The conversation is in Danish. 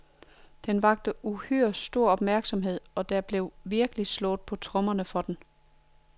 Den vakte uhyre stor opmærksomhed, og der blev virkelig slået på tromme for den.